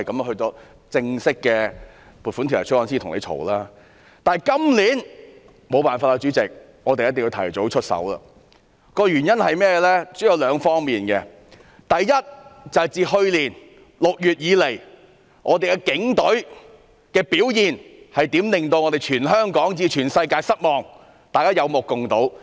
可是，主席，今年沒有辦法，我們必須提早出手，原因主要有兩方面，其一是自去年6月起，警隊的表現令全香港以至全世界失望，大家是有目共睹的。